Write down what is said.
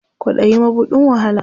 Kwaɗayi mabuɗin wahala.